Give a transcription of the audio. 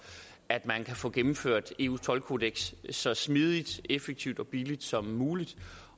at man kan få gennemført eus toldkodeks så smidigt effektivt og billigt som muligt